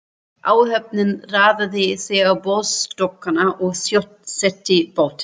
Áhöfnin raðaði sér á borðstokkana og sjósetti bátinn.